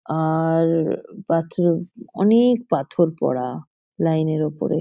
আ-আ-আর পাথর অনে-এ-ক পাথর পড়া লাইন -এর ওপরে।